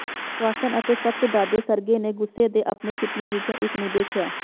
Strawson ਅਤੇ ਸਖ਼ਤ ਦਾਦੇ ਸਰਗੇ ਨੇ ਗੁੱਸੇ ਦੇ ਆਪਣੇ ਫਿਟਿਆਂ ਵਿੱਚੋਂ ਇਕ ਨੂੰ ਦੇਖਿਆ